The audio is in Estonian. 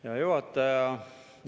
Hea juhataja!